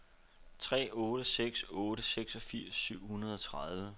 tre otte seks otte seksogfirs syv hundrede og tredive